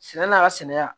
Sɛnɛ n'a ka sɛnɛ